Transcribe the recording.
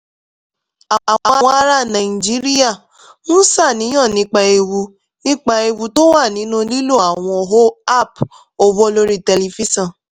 àwọn ará nàìjíríà ń ṣàníyàn nípa ewu nípa ewu tó wà nínú lílo àwọn app owó lórí tẹlifíṣọ̀n